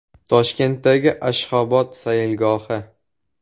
Toshkentdagi “Ashxobod sayilgohi”.